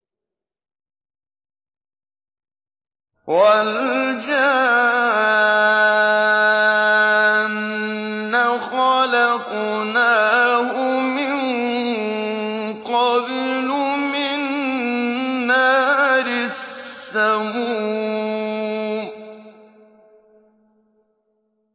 وَالْجَانَّ خَلَقْنَاهُ مِن قَبْلُ مِن نَّارِ السَّمُومِ